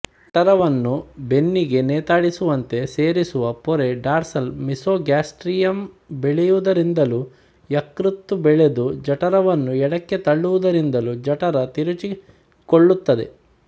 ಜಠರವನ್ನು ಬೆನ್ನಿಗೆ ನೇತಾಡಿಸುವಂತೆ ಸೇರಿಸುವ ಪೊರೆ ಡಾರ್ಸಲ್ ಮೀಸೋಗ್ಯಾಸ್ಟ್ರಿಯಮ್ ಬೆಳೆಯುವುದರಿಂದಲೂ ಯಕೃತ್ತು ಬೆಳೆದು ಜಠರವನ್ನು ಎಡಕ್ಕೆ ತಳ್ಳುವುದರಿಂದಲೂ ಜಠರ ತಿರುಚಿಕೊಳ್ಳುತ್ತದೆ